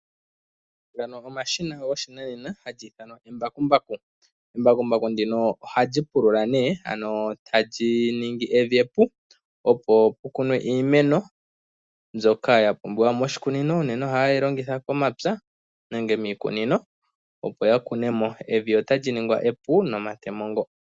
Ndika olyo eshina lyoshinanena hali ithanwa embakumbaku. Embakumbaku ndika ohali pulula ano tali ningi evi epu, opo pukunwe iimeno mbyoka yapumbiwamo moshikunino. Uunene ohaye li longitha momapya nenge miikunino opo yakunemo, evi ohali ningwa epu nomatemo ngoka.